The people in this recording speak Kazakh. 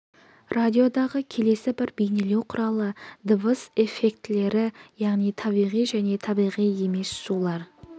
радиодағы келесі бір бейнелеу құралы дыбыс эффектілері яғни табиғи және табиғи емес шулар